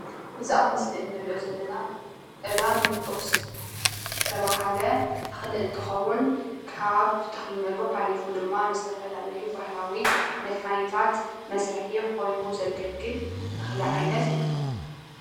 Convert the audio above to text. እዚ እብ ምስሊ እንርእዮ ዘለና ቀላሚጦስ ዝተበሃለ ተክሊ እንትክዉን ካብ ተክልነቱ ሓሊፉ ድማ ንዝተፋላለዩ ባህላዊ መድሓኒታት መስርሒ ኮይኑ ዘገልግል ተክሊ ዓይነት እዩ፡፡